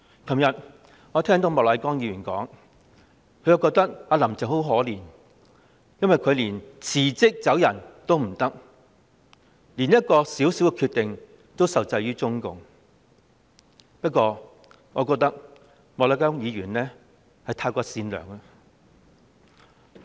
昨天我聽到莫乃光議員在發言中提到"林鄭"很可憐，想辭職也辭不了，連作一個小小決定也受制於中共，但我認為莫乃光議員實在太善良。